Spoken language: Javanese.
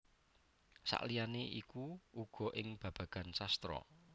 Saliyane iku uga ing babagan sastra